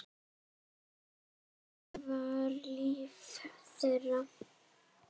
Hvernig var líf þeirra?